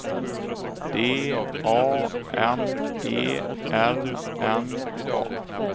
D A M E R N A